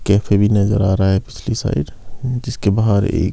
cafe भी नजर आ रहा है पिछली साइड जिसके बाहर एक--